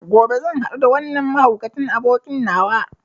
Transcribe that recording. Gobe zan hadu da wannan mahaukacin abokin nawa.